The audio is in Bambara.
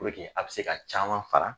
a bi se ka caman fara